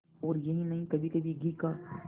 और यही नहीं कभीकभी घी का